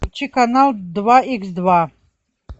включи канал два икс два